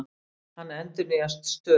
Hann endurnýjast stöðugt.